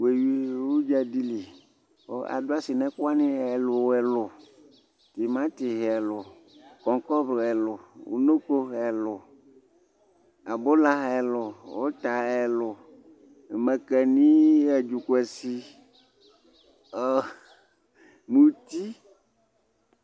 we wi udza di li kò adu asi n'ɛkò wani ɛlò ɛlò tomati ɛlò kɔkɔmbru ɛlò unoko ɛlò abòla ɛlò òta ɛlò makani adzokuasi muti